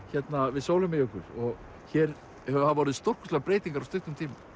við Sólheimajökul og hér hafa orðið stórkostlegar breytingar á stuttum tíma